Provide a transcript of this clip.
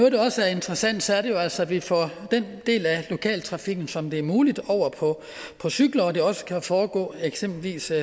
interessant er det jo altså at vi får den del af lokaltrafikken som det er muligt over på cykler og at det også kan foregå